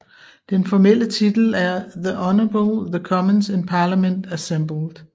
Den formelle titel er The Honourable The Commons in Parliament Assembled